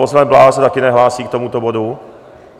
Poslanec Bláha se také nehlásí k tomuto bodu?